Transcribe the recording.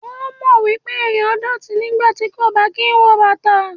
O mọ̀ wípé ẹ̀yàn dọ̀tí nígbàtí kò bá kín wọ bàtà.